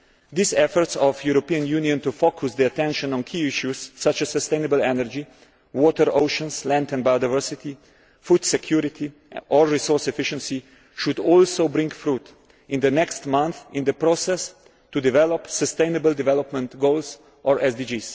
These efforts of the European Union to focus attention on key issues such as sustainable energy, water, oceans, land and biodiversity, food security and resource efficiency, should also bear fruit in the next month in the process to develop sustainable development goals or SDGs.